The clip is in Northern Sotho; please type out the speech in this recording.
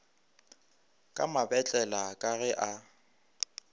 ka mabetlela ka ge a